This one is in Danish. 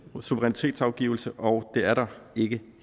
suverænitetsafgivelse og det er der ikke